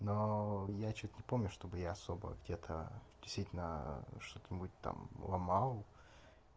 но я что-то не помню чтобы я особо где-то действительно что-нибудь там ломал